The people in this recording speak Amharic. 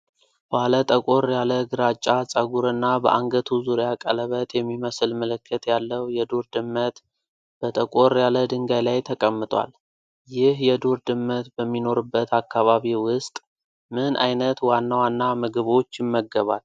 ባለ ጠቆር ያለ ግራጫ ፀጉርና በአንገቱ ዙሪያ ቀለበት የሚመስል ምልክት ያለው የዱር ድመት በጠቆር ያለ ድንጋይ ላይ ተቀምጧል። ይህ የዱር ድመት በሚኖርበት አካባቢ ውስጥ ምን ዓይነት ዋና ዋና ምግቦች ይመገባል?